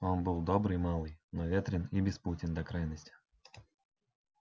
он был добрый малый но ветрен и беспутен до крайности